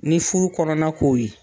Ni furu kɔnɔna ko ye